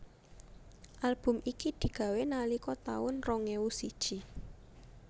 Album iki digawé nalika taun rong ewu siji